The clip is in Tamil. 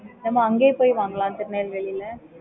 நம்ப அங்க போய் வாங்கலாம் திருநெல்வேலில